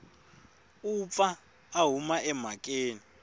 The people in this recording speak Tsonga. u pfa a huma emhakeni